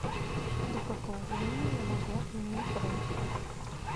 до какого времени я могу отменить бронь